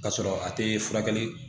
K'a sɔrɔ a te furakɛli